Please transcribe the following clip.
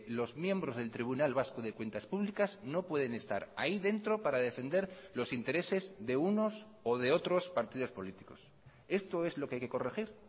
los miembros del tribunal vasco de cuentas públicas no pueden estar ahí dentro para defender los intereses de unos o de otros partidos políticos esto es lo que hay que corregir